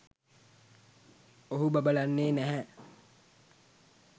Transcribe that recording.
ඔහු බබලන්නේ නැහැ